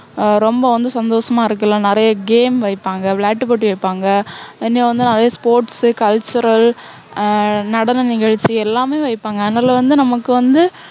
ஆஹ் ரொம்ப வந்து சந்தோஷமா இருக்கலாம். நிறைய game வைப்பாங்க. விளையாட்டு போட்டி வைப்பாங்க. இன்னும் வந்து நிறைய sports cultural ஆஹ் நடன நிகழ்ச்சி, எல்லாமே வைப்பாங்க. அதுனால வந்து நமக்கு வந்து